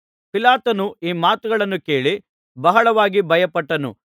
ಪಿಲಾತನು ಈ ಮಾತನ್ನು ಕೇಳಿ ಬಹಳವಾಗಿ ಭಯಪಟ್ಟನು